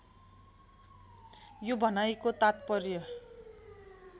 यो भनाइको तात्पर्य